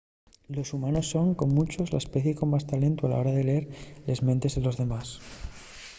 los humanos son con muncho la especie con más talentu a la hora de lleer les mentes de los demás